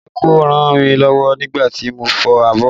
Délé kò ràn mí lọ́wọ́ nígbà tí mo ń fọ abọ́